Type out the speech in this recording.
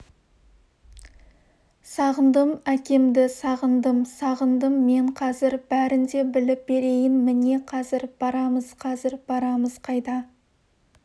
сағындым әкемді сағындым сағындым мен қазір бәрін де біліп берейін міне қазір барамыз қазір барамыз қайда